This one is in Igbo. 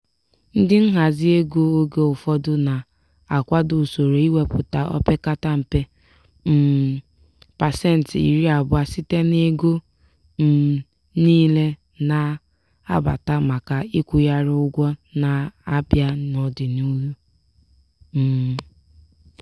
ndị nhazi ego oge ụfọdụ na-akwado usoro iwepụta o pekata mpe um pasenti iri abụọ site n'ego um niile na-abata maka ịkwụgharị ụgwọ na-abịa n'ọdịniihu. um